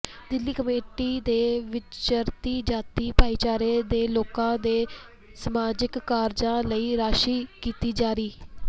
Delhi committee ਨੇ ਵਿਚਰਤੀ ਜਾਤੀ ਭਾਈਚਾਰੇ ਦੇ ਲੋਕਾਂ ਦੇ ਸਮਾਜਿਕ ਕਾਰਜਾਂ ਲਈ ਰਾਸ਼ੀ ਕੀਤੀ ਜਾਰੀ